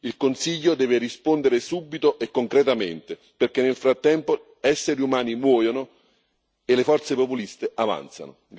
Il Consiglio deve rispondere subito e concretamente, perché nel frattempo esseri umani muoiono e le forze populiste avanzano.